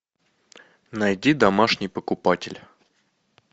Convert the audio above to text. найди домашний покупатель